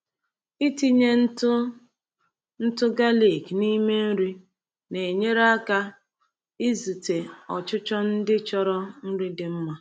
Ịtinye ntụ ntụ galik n’ime nri na-enyere aka izute ọchịchọ ndị chọrọ nri dị mma.